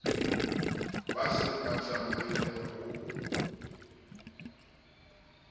ba se ba tsamaile ho